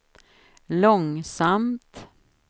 långsamt